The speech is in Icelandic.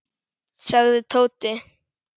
sagði Tóti.